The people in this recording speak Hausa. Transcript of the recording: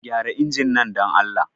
Gyara injin nan, don Allah.